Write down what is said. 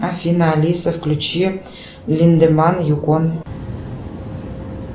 афина алиса включи линдеман юкон